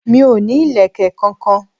Mi ò ní ìlẹ̀kẹ̀ kankan.